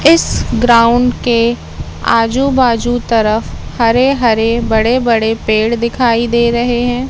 इस ग्राउंड के आजू बाजू तरफ हरे हरे बड़े बड़े पेड़ दिखाई दे रहे हैं।